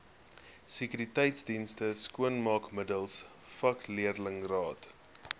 sekuriteitsdienste skoonmaakmiddels vakleerlingraad